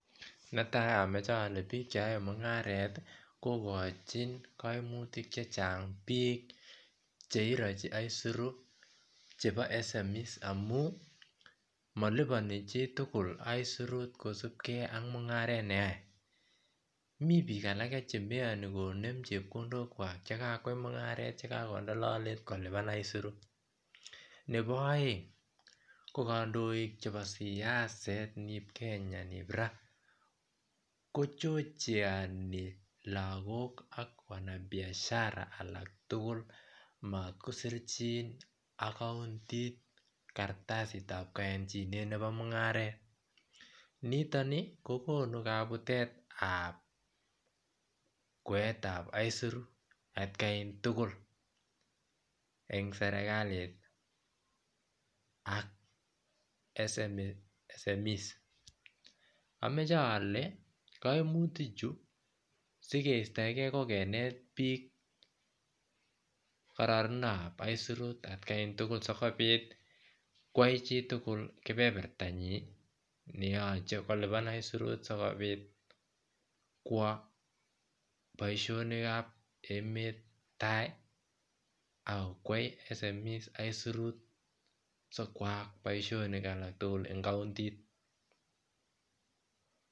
Netai amoche ole biik che yoe mungaret kokojin koimutik chechang biik cheiroji aisirut chebo smes amun moliponi chitugul aisurut kosubgei ak mungaret neyoe mi biik alage chemoiyoni konem chepkondok kwak chekakoyai mungaret chekakonde lolet nebo aeng ko kandoik chebo siaset nieb Kenya kochojeoni lagok ak wanabiasharaek alaktugul makoseryin ak kartasisekab koyonjinet nebo mungaret niton kokonu kabutetab kwaetab aisurut atkantugul en serikali ak smes amache ole koimutichu sikeistoengei kokinet biik kororonintab aisurut tab etkantugul sikobit koyoe chitugul kebebertanyi neyoche kolipan aisirut sikobit kwo boisionik kab emet tai aK koyai smes aisirut sikoyaak boisionik alaktugul en kaontit